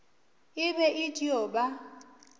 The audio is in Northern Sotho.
e be e dio ba